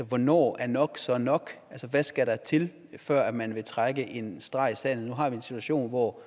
hvornår er nok så nok hvad skal der til før man vil trække en streg i sandet nu har vi en situation hvor